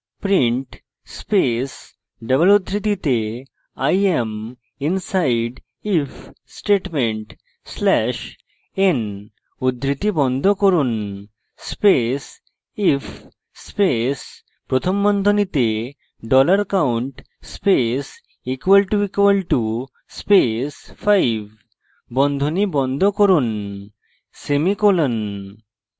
print space double উদ্ধৃতিতে i am inside if statement slash n উদ্ধৃতি বন্ধ করুন space if space প্রথম বন্ধনীতে dollar count space == space 5 বন্ধনী বন্ধ করুন semicolon